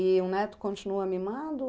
E o neto continua mimado?